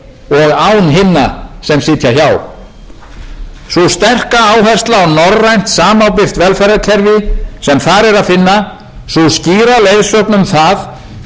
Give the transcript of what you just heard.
norrænt samábyrgt velferðarkerfi sem þar er að finna sú skýra leiðsögn um það hvert við viljum að íslenskt samfélag þróist er hrein og klár